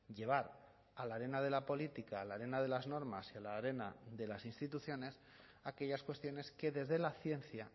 llevar a la arena de la política a la arena de las normas y a la arena de las instituciones aquellas cuestiones que desde la ciencia